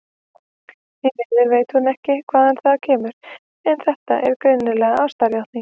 Því miður veit hún ekki hvaðan það kemur, en þetta er greinilega ástarjátning.